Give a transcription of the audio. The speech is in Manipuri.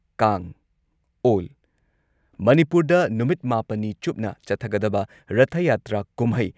ꯀꯥꯡ ꯑꯣꯜ ꯃꯅꯤꯄꯨꯔꯗ ꯅꯨꯃꯤꯠ ꯃꯥꯄꯟꯅꯤ ꯆꯨꯞꯅ ꯆꯠꯊꯒꯗꯕ ꯔꯊ ꯌꯥꯇ꯭ꯔꯥ ꯀꯨꯝꯍꯩ